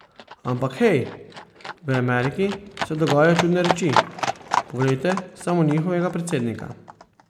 Ampak hej, v Ameriki se dogajajo čudne reči, poglejte samo njihovega predsednika!